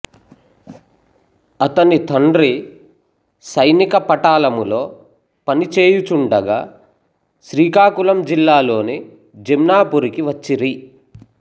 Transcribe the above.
అతని తండ్రి సైనిక పటాలములో పనిచేయుచుండగా శ్రీకాకుళం జిల్లా లోని జమ్నాపురికి వచ్చిరి